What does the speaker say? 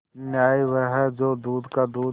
न्याय वह है जो दूध का दूध